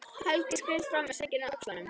Helgi skreiðist fram með sængina á öxlunum.